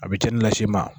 A bɛ cɛnnin lase i ma